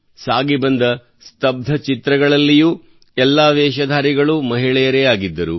ಸಾಗಿಬಂದ ಸ್ಥಬ್ಧ ಚಿತ್ರಗಳಲ್ಲಿಯೂ ಎಲ್ಲಾ ವೇಷಧಾರಿಗಳು ಮಹಿಳೆಯರೇ ಆಗಿದ್ದರು